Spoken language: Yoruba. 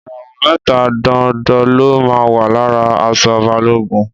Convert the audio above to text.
Ìràwọ̀ mẹ́ta dondo ló máa ń wà lára aṣọ Balógun.